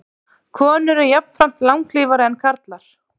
Konur eru jafnframt langlífari en karlar.